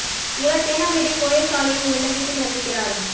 இவர் தேனாம்பேட்டை போயஸ் சாலையில் உள்ள வீட்டில் வசிக் கிறார்